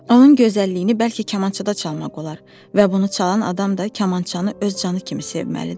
Onun gözəlliyini bəlkə kamançada çalmaq olar və bunu çalan adam da kamançanı öz canı kimi sevməlidir.